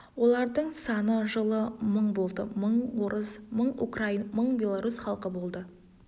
олардың саны жылы мың болды мың орыс мың украин мың белорус халқы болды